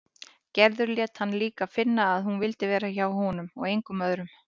Gerður lét hann líka finna að hún vildi vera hjá honum og engum öðrum.